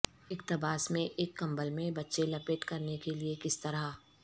اقتباس میں ایک کمبل میں بچے لپیٹ کرنے کے لئے کس طرح